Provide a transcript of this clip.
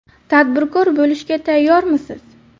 Tadbirkor bo‘lishga tayyormisiz?.